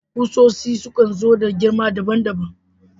Ƙusoshi sukan so da girma daban-daban